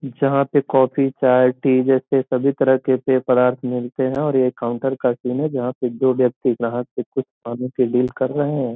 जहाँ पे कॉफ़ी चाय टी जैसे सभी तरह के पेय पदार्थ मिलते हैं और यह काउंटर है जहाँ पे दो व्यक्ति जहाँ से कुछ पाने के डील कर रहे हैं।